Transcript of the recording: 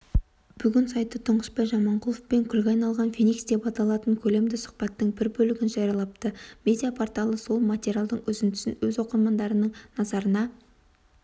бүгін сайты тұңғышбай жаманқұловпен күлге айналған фэникс деп аталатын көлемді сұхбаттың бір бөлігін жариялапты медиа-порталы сол материалдың үзіндісін өз оқырмандарының назарына